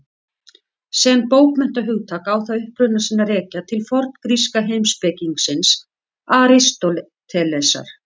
Sem bókmenntahugtak á það uppruna sinn að rekja til forngríska heimspekingsins Aristótelesar.